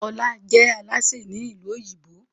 Ola je Alásè Ni ilu òyìnbó.